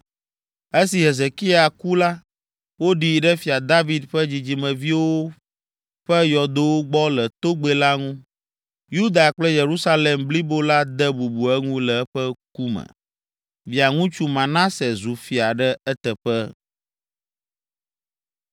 Esi Hezekia ku la, woɖii ɖe fia David ƒe dzidzimeviwo wo ƒe yɔdowo gbɔ le togbɛ la ŋu. Yuda kple Yerusalem blibo la de bubu eŋu le eƒe ku me. Via ŋutsu Manase zu fia ɖe eteƒe.